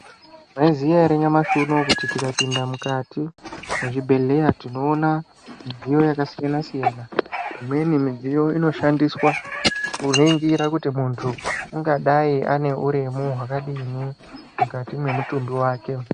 Maizviziya ere nyamashi unouyu kuti tikapinda mukati mwezvibhedhleya tinoona midziyo yakasiyana-siyana. Imweni midziyo inoshandiswa kuningira kuti muntu ungadai ane uremu hwakadini mukati mwemutumbi vake.